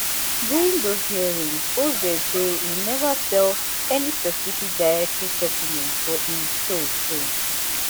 during those hearings oz say e neva sell any specific dietary supplements for im show show